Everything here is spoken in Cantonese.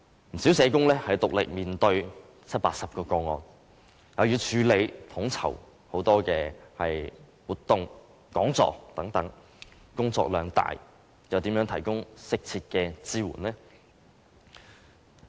不少社工獨力面對七八十宗個案，又要處理統籌很多活動和講座等，工作量大又怎能提供適切的支援？